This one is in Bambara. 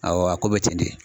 Awɔ a ko bɛ ten de